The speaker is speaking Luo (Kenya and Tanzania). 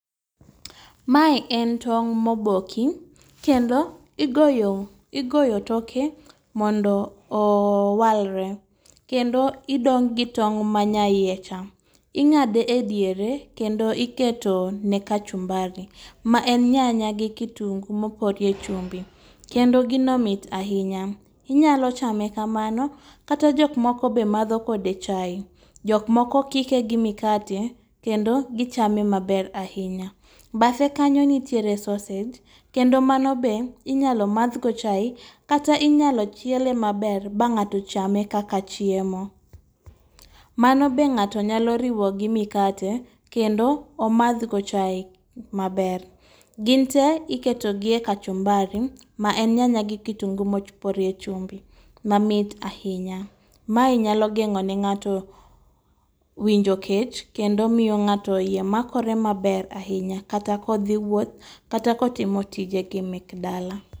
Mae en tong' moboki kendo igoyo igoyo toke mondo owal re kendo idong' gi tong' ma nya iye cha. Ing'ade ediere kendo iketo ne kachumbari ma en nyanya gi kitungu moporie chumbi kendo gino mit ahinya inyalo chame kamano kata jok moko be madho kode chai. Jok moko kike gi mikate kendo gichame maber ahinya bathe kanyo nitiere sosej kendo mano be inyalo madh go chai kata inyalo chiele maber ba ng'ato chame kaka chiemo. Mano be ng'ato nyalo riwo gi mikate kendo omadh go chai maber. Gin tee iketo gi e kachumbari mae en nyanya gi kitungu moporie chumbi mamit ahinya . Mae nyalo geng'o ne ng'ato winjo kech kendo miyo ng'ato iye makore maber ahinya kata kodhi wuoth kata kotimo tijege mek dala.